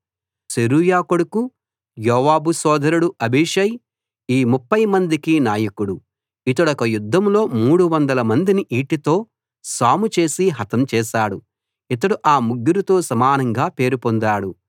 సెరూయా కొడుకు యోవాబు సోదరుడు అబీషై ఈ ముప్ఫై మందికి నాయకుడు ఇతడొక యుద్ధంలో మూడు వందల మందిని ఈటెతో సాము చేసి హతం చేశాడు ఇతడు ఆ ముగ్గురితో సమానంగా పేరు పొందాడు